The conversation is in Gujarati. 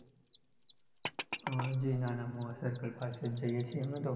હમ જે નાના મોવા circle પાસે જ જઈએ સહ અમે તો